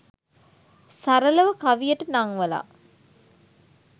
සරලව කවියට නංවලා